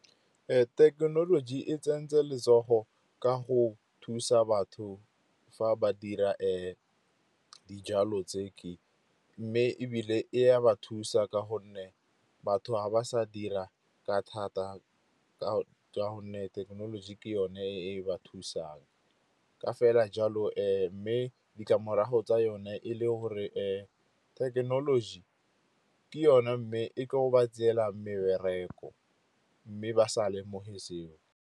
Thekenoloji e tsentse letsogo ka go thusa batho fa ba dira dijalo tse. Mme ebile e ya ba thusa ka gonne batho ga ba sa dira ka thata ka gonne thekenoloji ke yone e ba thusang. Ka fela jalo mme ditlamorago tsa yone e le gore thekenoloji ke yone mme e tlo ba tselang mebereko mme ba sa lemoge seo.